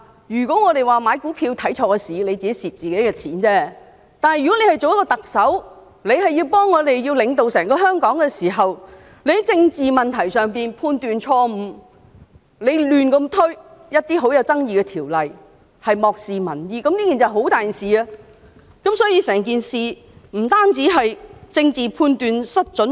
如果我們買股票看錯時機，最後虧損的只是我們自己的金錢，但作為特首領導整個香港，如果她在政治問題上判斷錯誤，胡亂推行一些具爭議性的法例，漠視民意，這便是很嚴重的一件事，而整件事亦不單是政治判斷失準。